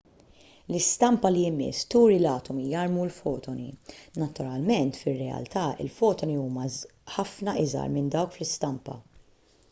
l-istampa li jmiss turi l-atomi jarmu l-fotoni naturalment fir-realtà il-fotoni huma ħafna iżgħar minn dawk fl-istampa